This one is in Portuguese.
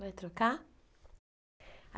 Vai trocar?